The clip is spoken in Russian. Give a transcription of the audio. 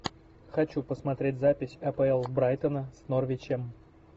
хочу посмотреть запись апл брайтона с норвичем